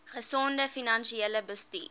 gesonde finansiële bestuur